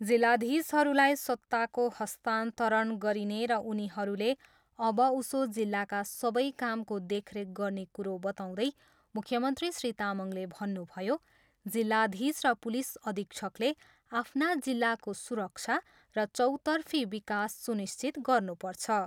जिल्लाधीशहरूलाई सत्ताको हस्तान्तरण गरिने र उनीहरूले अबउसो जिल्लाका सबै कामको देखरेख गर्ने कुरो बताउँदै मुख्यमन्त्री श्री तामाङले भन्नुभयो, जिल्लाधीश र पुलिस अधीक्षकले आफ्ना जिल्लाको सुरक्षा र चौतर्फी विकास सुनिश्चित गर्नुपर्छ।